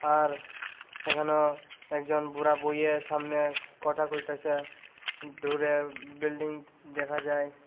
আর এখানেও একজন বুড়া বইয়া সামনে কটা কইতাছে দূরে বিল্ডিং দেখা যায়।